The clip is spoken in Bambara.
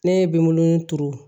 Ne ye bimolon turu